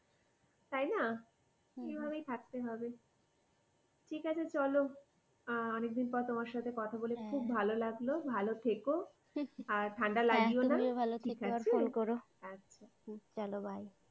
তাই না এই ভাবেই থাকতে হবে ঠিক আছে চলো অনেকদিন পর তোমার সঙ্গে কথা বলে খুব ভালো লাগলো ভালো থেকো আর ঠান্ডা লাগিও না ঠিক আছে আচ্ছা চলো bye ।